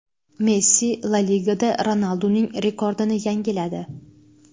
Messi La Ligada Ronalduning rekordini yangiladi.